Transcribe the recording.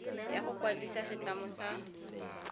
ya go kwadisa setlamo sa